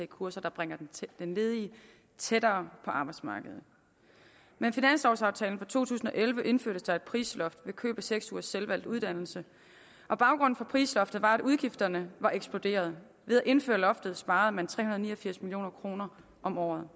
kurser der bringer den ledige tættere på arbejdsmarkedet med finanslovaftalen for to tusind og elleve indførtes der et prisloft ved køb af seks ugers selvvalgt uddannelse og baggrunden for prisloftet var at udgifterne var eksploderet ved at indføre loftet sparede man tre hundrede og ni og firs million kroner om året